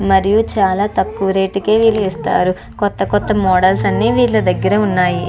మరియు చాలా తక్కువ రేట్స్ కె వీళ్ళు ఇస్తారు. కొత్త కొత్త మోడల్స్ అన్ని విల్లా దగ్గర ఉన్నాయ్.